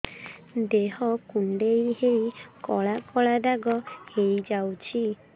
ଦେହ କୁଣ୍ଡେଇ ହେଇ କଳା କଳା ଦାଗ ହେଇଯାଉଛି